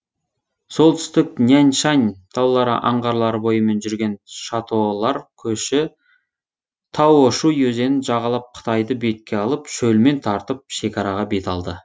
солтүстік няньшань таулары аңғарлары бойымен жүрген шатолар көші таошуй өзенін жағалап қытайды бетке алып шөлмен тартып шекараға бет алды